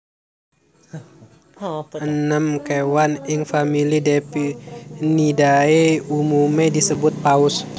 Enem kéwan ing famili Delphinidae umumé disebut paus